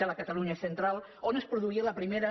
de la catalunya central on es produïa la primera